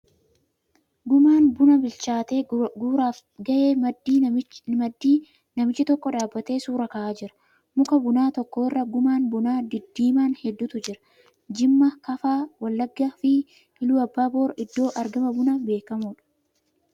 Gumaan bunaa bilchaatee guuraaf ga'e maddii namichi tokko dhaabbatee suura ka'aa jira. Muka bunaa tokko irra gumaan bunaa diddiimaan heduutu jira. Jimma, Kafaa, Wallaggaa fi Iluu Abbaaboor iddoo argama bunaa beekamoodha.